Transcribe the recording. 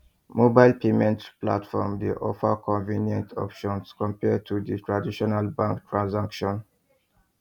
mobile payment platforms dey offer convenient options compared to di traditional bank transactions